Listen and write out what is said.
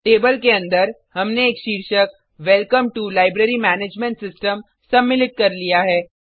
table के अंदर हमने एक शीर्षक welcome to library management system सम्मिलित कर लिया है